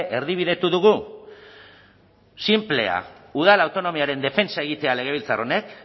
erdibidetu dugu sinplea udal autonomiaren defentsa egitea legebiltzar honek